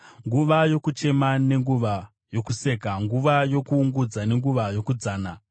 nguva yokuchema nenguva yokuseka, nguva yokuungudza nenguva yokudzana;